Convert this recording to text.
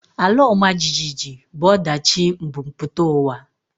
Ala ọma jijiji bụ ọdachi mbumputauwa